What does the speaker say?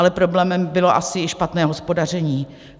Ale problémem bylo asi i špatné hospodaření.